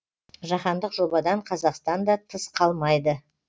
жаһандық жобадан қазақстан да тыс қалмайды